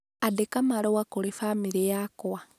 Andĩka marũa kũrĩ famĩlĩ yakwa